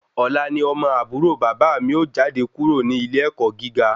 Ọ̀la ni ọmọ àbúrò bàbá mi ó jáde kúrò ní ilé ẹ̀kọ́ gíga